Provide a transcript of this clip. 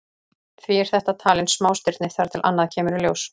Því er þetta talin smástirni þar til annað kemur í ljós.